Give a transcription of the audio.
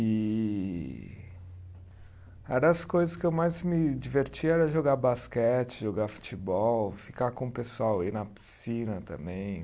E era as coisas que eu mais me divertia, era jogar basquete, jogar futebol, ficar com o pessoal, ir na piscina também